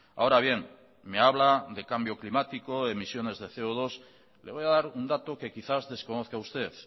ahora bien me habla de cambio climático emisiones de ce o dos le voy a dar un dato que quizás desconozca usted